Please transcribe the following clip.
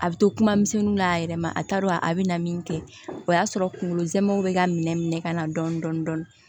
A bɛ to kuma misɛnin na a yɛrɛ ma a t'a dɔn a bɛ na min kɛ o y'a sɔrɔ kunkolo zɛmɛw bɛ ka minɛ minɛ ka na dɔn dɔnni